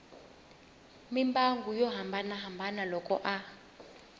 mimbangu yo hambanahambana loko a